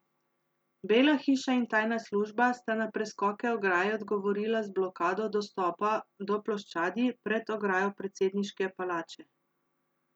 Bela hiša in tajna služba sta na preskoke ograje odgovorila z blokado dostopa do ploščadi pred ograjo predsedniške palače.